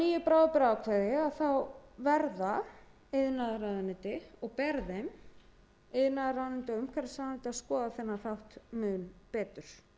nýju bráðabirgðaákvæði verða iðnaðarráðuneyti og umhverfisráðuneyti og ber þeim að skoða þennan þátt mun betur